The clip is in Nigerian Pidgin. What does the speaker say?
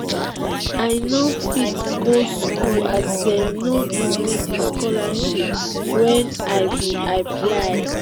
i no fit go school as dem no give me di scholarship wey i bin um apply.